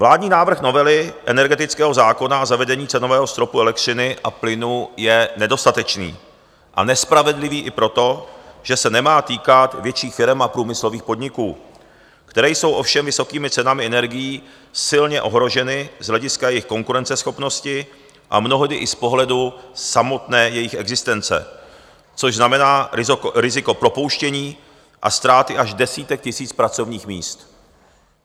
Vládní návrh novely energetického zákona na zavedení cenového stropu elektřiny a plynu je nedostatečný a nespravedlivý i proto, že se nemá týkat větších firem a průmyslových podniků, které jsou ovšem vysokými cenami energií silně ohroženy z hlediska jejich konkurenceschopnosti a mnohdy i z pohledu samotné jejich existence, což znamená riziko propouštění a ztráty až desítek tisíc pracovních míst.